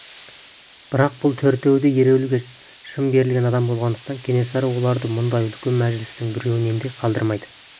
бірақ бұл төртеуі де ереуілге шын берілген адам болғандықтан кенесары оларды мұндай үлкен мәжілістің біреуінен де қалдырмайды